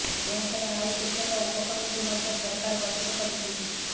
ଏହାଛଡା ଆଉ କେତେକ ଉପକମିଟି ମଧ୍ୟ ସରକାର ଗଠନ କରିଛନ୍ତି